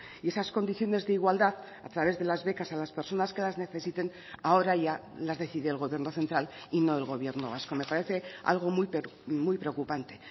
y esas condiciones de igualdad a través de las becas a las personas que las necesiten ahora ya las decide el gobierno central y no el gobierno vasco me parece algo muy preocupante